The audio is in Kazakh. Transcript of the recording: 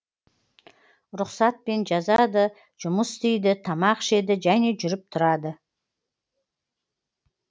рұқсатпен жазады жұмыс істейді тамақ ішеді және жүріп тұрады